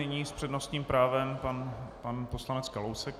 Nyní s přednostním právem pan poslanec Kalousek.